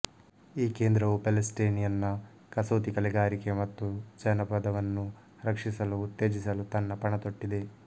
ಈ ಕೇಂದ್ರವು ಪ್ಯಾಲೇಸ್ಟಿನಿಯನ್ ನ ಕಸೂತಿ ಕಲೆಕಲೆಗಾರಿಕೆ ಮತ್ತು ಜಾನಪದವನ್ನು ರಕ್ಷಿಸಲುಉತ್ತೇಜಿಸಲು ತನ್ನ ಪಣ ತೊಟ್ಟಿದೆ